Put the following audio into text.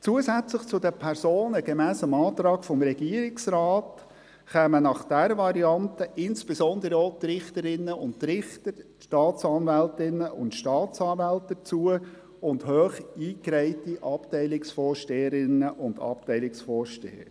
Zusätzlich zu den Personen gemäss dem Antrag des Regierungsrates kämen bei dieser Variante insbesondere auch die Richterinnen und Richter, die Staatsanwältinnen und Staatsanwälte sowie hoch eingereihte Abteilungsvorsteherinnen und Abteilungsvorsteher hinzu.